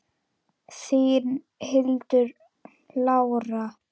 Þín, Hildur Lára.